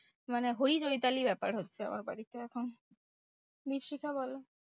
মানে হই হই তালি ব্যাপার হচ্ছে আমার বাড়িতে এখন। দ্বীপশিখা বলো?